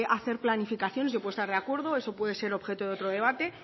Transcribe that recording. hacer planificaciones yo puedo estar de acuerdo eso puede ser objeto de otro debate